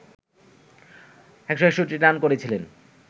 ১৬১ run করেছিলেন